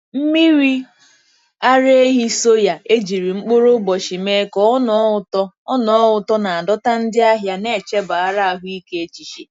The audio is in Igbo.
Mmiri ara ehi soya e jiri mkpụrụ ụbọchị mee ka ọ ṅọọ ụtọ ọ ṅọọ ụtọ na-adọta ndị ahịa na-echebara ahụike echiche.